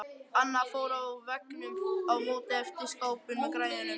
Annað far á veggnum á móti eftir skápinn með græjunum.